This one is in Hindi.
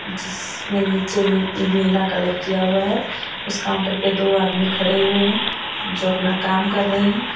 जिसमें नीचे नी नीला कलर किया हुआ हैं उस काउंटर पे दो आदमी खड़े हुए हैं जो अपना काम कर रहें हैं।